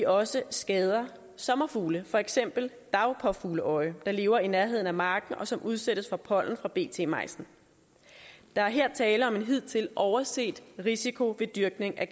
også skader sommerfugle for eksempel dagpåfugleøje der lever i nærheden af marken og som udsættes for pollen fra bt majsen der er her tale om en hidtil overset risiko ved dyrkning af